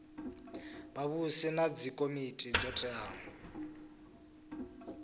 vhavhusi na dzikomiti dzo teaho